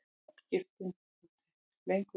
Nafngiftin þó lengur.